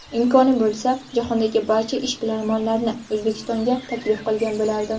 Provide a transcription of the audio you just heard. Imkoni bo‘lsa, jahondagi barcha ishbilarmonlarni O‘zbekistonga taklif qilgan bo‘lardim.